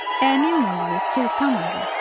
Əmim oğlu Sultan ağa.